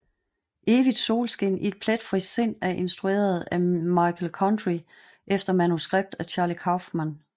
Evigt solskin i et pletfrit sind er instrueret af Michel Gondry efter manuskript af Charlie Kaufman